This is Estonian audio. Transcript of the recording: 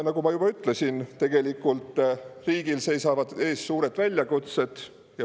Nagu ma juba ütlesin, tegelikult riigil seisavad ees suured väljakutsed.